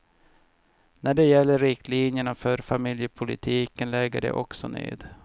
När det gäller riktlinjerna för familjepolitiken lägger de också ned.